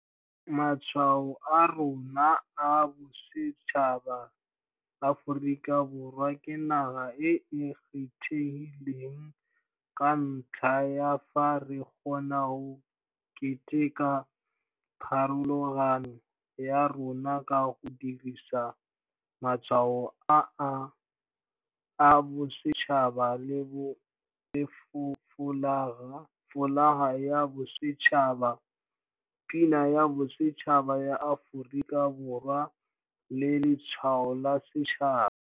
Matshwao a rona a bosetšhaba Aforika Borwa ke naga e e kgethegileng ka ntlha ya fa re kgona go keteka pharologano ya rona ka go dirisa Matshwao a Bosetšhaba le Folaga ya Bosetšhaba, Pina ya Bosetšhaba ya Aforika Borwa le Letshwao la Setšhaba.